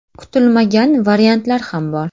Kutilmagan variantlar ham bor.